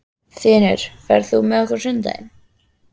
Þinur, ferð þú með okkur á sunnudaginn?